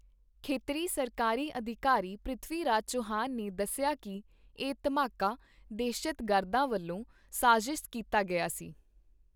ਖੇਤਰੀ ਸਰਕਾਰੀ ਅਧਿਕਾਰੀ ਪ੍ਰਿਥਵੀਰਾਜ ਚਵਾਨ ਨੇ ਦੱਸਿਆ ਕੀ ਇਹ ਧਮਾਕਾ ਦਹਿਸ਼ਤਗਰਦਾਂ ਵੱਲੋਂ ਸਾਜ਼ਿਸ਼ ਕੀਤਾ ਗਿਆ ਸੀ।